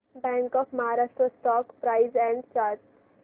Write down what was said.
bank of Maharashtra stock price and chart